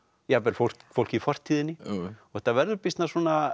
jafnvel fólk fólk í fortíðinni og þetta verður býsna